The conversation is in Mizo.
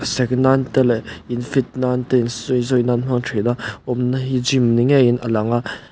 sek nan te leh in fit nan te in sawizawi hmang thin a awmna hi gym ni ngeiin a lang a--